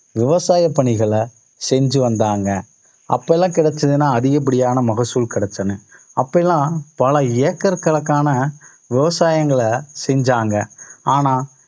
விவசாய பணிகளை செஞ்சு வந்தாங்க. அப்ப எல்லாம் கிடைச்சதுன்னா அதிகப்படியான மகசூல் கிடைச்சன. அப்ப எல்லாம் பல ஏக்கர் கணக்கான விவசாயங்களை செஞ்சாங்க ஆனா